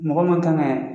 Mɔgɔ min kan ka